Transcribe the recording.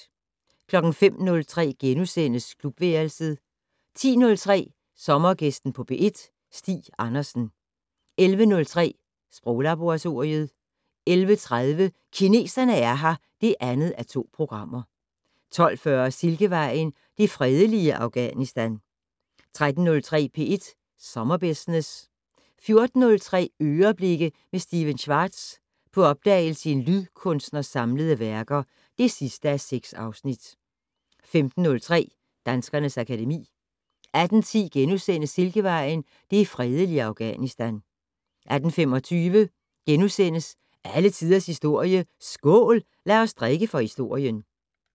05:03: Klubværelset * 10:03: Sommergæsten på P1: Stig Andersen 11:03: Sproglaboratoriet 11:30: Kineserne er her (2:2) 12:40: Silkevejen: Det fredelige Afghanistan 13:03: P1 Sommerbusiness 14:03: "Øreblikke" med Stephen Schwartz - på opdagelse i en lydkunstners samlede værker (6:6) 15:03: Danskernes akademi 18:10: Silkevejen: Det fredelige Afghanistan * 18:25: Alle tiders historie: SKÅL! Lad os drikke for historien *